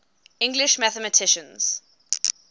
english mathematicians